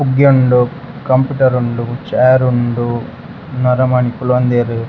ಪುಗ್ಗ್ಯ ಉಂಡು ಕಂಪ್ಯೂಟರ್ ಉಂಡು ಚೇರ್ ಉಂಡು ನರಮನಿ ಕುಲೊಂದೆರ್.